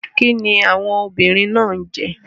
Kíni àwọn obìnrin náà ń jẹ?